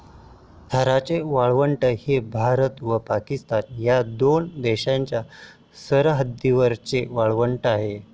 थराचे वाळवंट हे भारत व पाकिस्तान या दोन देशांच्या सरहद्दीवरचे वाळवंट आहे.